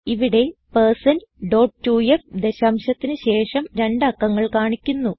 ഇവിടെ 160 ഡോട്ട് 2ഫ് ദശാംശത്തിന് ശേഷം രണ്ട് അക്കങ്ങൾ കാണിക്കുന്നു